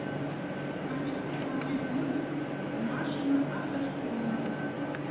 хочу посмотреть мультик машина автошкола